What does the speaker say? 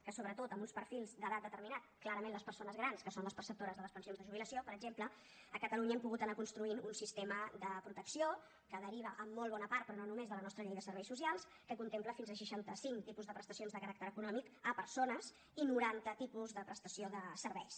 que sobretot amb uns perfils d’edat determinats clarament les persones grans que són les perceptores de les prestacions de jubilació per exemple a catalunya hem pogut anar construint un sistema de protecció que deriva en molt bona part però no només de la nostra llei de serveis socials que contempla fins a seixantacinc tipus de prestacions de caràcter econòmic a persones i noranta tipus de prestació de serveis